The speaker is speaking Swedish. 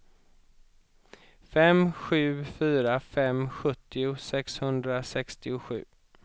fem sju fyra fem sjuttio sexhundrasextiosju